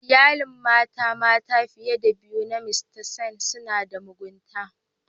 Iyalin mata mata fiye da biyu na mista Seth suna da mugunta.